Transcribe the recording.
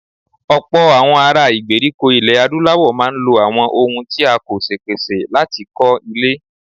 Ọ̀pọ̀ àwọn ará ìgbèríko ilẹ̀ Adúláwọ̀ máa ń lo àwọn ohun tí a kò ṣèpèsè láti kọ́ ilé.